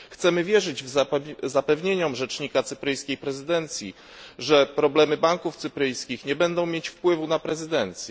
Chcemy wierzyć zapewnieniom rzecznika cypryjskiej prezydencji, że problemy banków cypryjskich nie będą mieć wpływu na prezydencję.